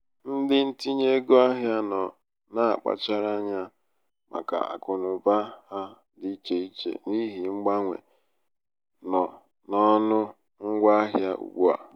ndị ntinye ego ahịa nọ na mkpachara anya màkà akụnaụba ha dị ichè ichè n'ihi mgbanwe nọ n'ọnụ ngwa ahịa ugbu a.